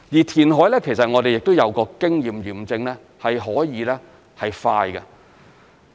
填海方面，我們亦有經驗驗證可以是快的。